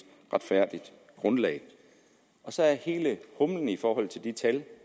retfærdigt grundlag så er hele humlen i forhold til de tal